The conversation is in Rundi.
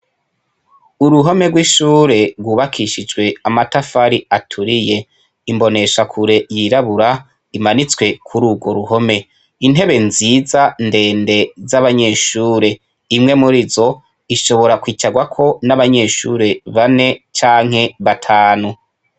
Uruhome rw'ishure rwubakishijwe amatafari aturiye. Imboneshakure yirabura imanitswe kur'urwo ruhome. Intebe nziza ndende z'abanyeshure. Imwe muri zo ishobora kwicarwako n'abanyeshure bane canke batanu.